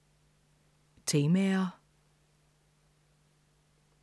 Temaer